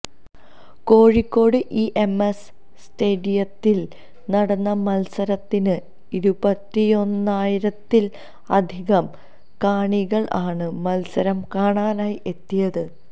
Kozhikode E M S സ്റ്റേഡിയത്തില് നടന്ന മത്സരത്തിന് ഇരുപത്തിയൊന്നായിരത്തില് അധികം കാണികള് ആണ് മത്സരം കാണാനായി എത്തിയത്